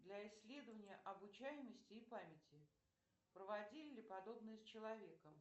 для исследования обучаемости и памяти проводили ли подобное с человеком